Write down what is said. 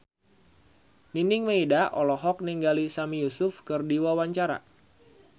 Nining Meida olohok ningali Sami Yusuf keur diwawancara